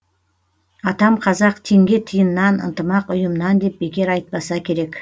атам қазақ теңге тиыннан ынтымақ ұйымнан деп бекер айтпаса керек